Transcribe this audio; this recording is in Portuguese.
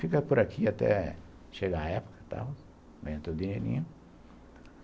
Fica por aqui até chegar a época, tal, ganha o meu dinheirinho.